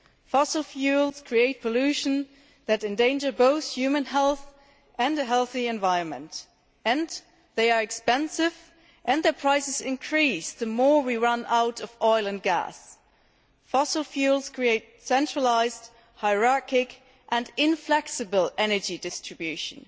Fossil fuels create pollution that endangers both human health and a healthy environment, and they are expensive and their prices increase the more we run out of oil and gas. Fossil fuels create centralised, hierarchic and inflexible energy distribution.